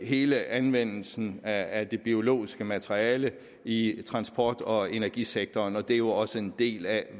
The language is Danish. hele anvendelsen af det biologiske materiale i transport og energisektoren og det er jo også en del af